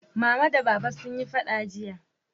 Mama da Baba sun yi faɗa jiya